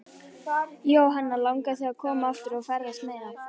Jóhanna: Langar þig að koma aftur og ferðast meira?